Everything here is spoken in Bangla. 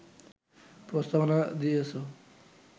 প্রস্তাবনা দিয়েছ